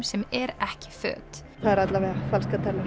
sem er ekki föt það er alla vega falskar tennur